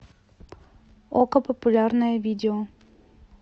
окко популярное видео